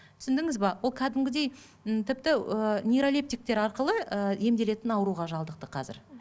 түсіндіңіз бе ол кәдімгідей м тіпті ііі нейролиптіктер арқылы ы емделетін ауруға шалдықты қазір